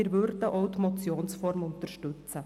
Wir würden auch die Motion unterstützen.